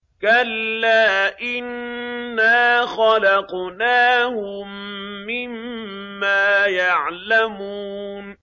كَلَّا ۖ إِنَّا خَلَقْنَاهُم مِّمَّا يَعْلَمُونَ